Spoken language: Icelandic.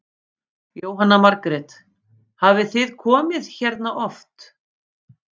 Jóhanna Margrét: Hafið þið komið hérna oft?